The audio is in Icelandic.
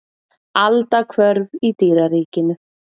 Aldahvörf í dýraríkinu.